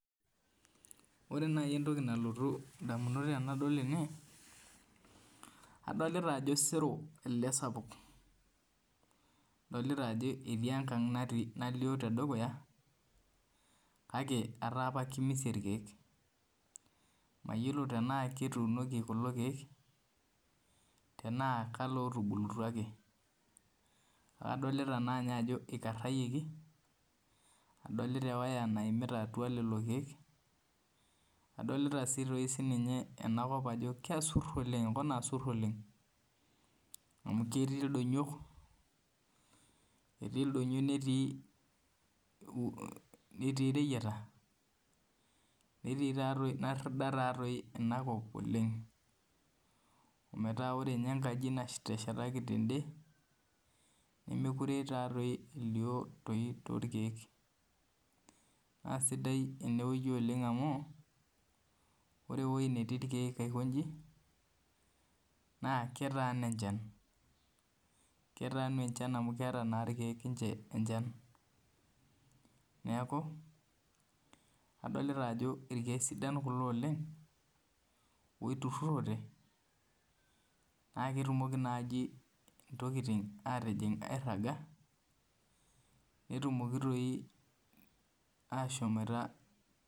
Ore naaji entoki nalotu indamunot tenadol ene , adolita sero elde sapuk, adolita ajo ketii enkang' nalio te dukuya kake etaa keimisie ilkeek mayiolo tanaa ketuunoki kulo keek, tanaa ke ilootubulutia ake, adolita naa ninye ake ajo keikarayioki, adolita ewaya naimita atua lelo keek, adolita sii toi enakop ajo keasiru oleng' Eton aa siru oleng', amu ketii ildonyok, netii ireyieta, netii taadoi nerida taa doi Ina kop oleng', metaa ore tei ninye enkaji nateshetaki tende, nemekure taadoi elio toolkeek. Naa sidai ene wueji oleng' amu , ore ewueji natii ilkeek aiko inji naa ketaana enchan, ketaanu naa enchan amu keata naa tei ninche ilkeek enchan , neaku, adolita ajo ilkeek sidan kulo oleng' amu oitururote naake etumoki naaji intokitin airaga, netumoki toi ashomoita .